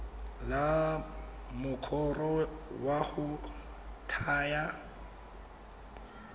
la mokoro wa go thaya